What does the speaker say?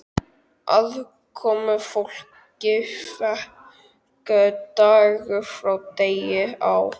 Aðkomufólki fækkaði dag frá degi á